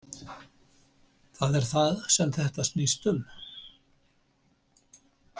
Það er það sem þetta snýst um